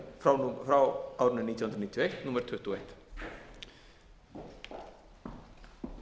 fleira frá árinu nítján hundruð níutíu og eitt númer tuttugu og